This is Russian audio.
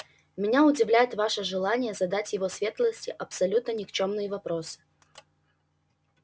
меня удивляет ваше желание задать его светлости абсолютно никчёмные вопросы